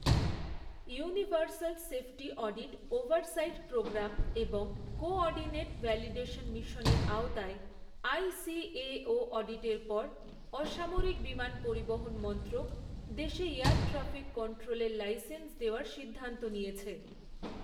Universal safety audit oversight programme এবং coordinate validation মিশনের আওতায়, আই.সি.এ.ও অডিটের পর অসামরিক বিমান পরিবহন মন্ত্রক, দেশে এয়ার ট্রাফিক কন্ট্রোলের লাইসেন্স দেওয়ার সিদ্ধান্ত নিয়েছে।